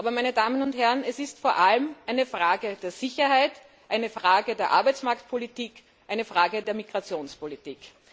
Aber es ist vor allem eine Frage der Sicherheit, eine Frage der Arbeitsmarktpolitik, eine Frage der Migrationspolitik.